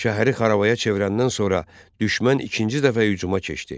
Şəhəri xarabaya çevirəndən sonra düşmən ikinci dəfə hücuma keçdi.